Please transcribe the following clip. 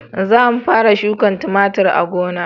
Za mu fara shuka tumatir a gona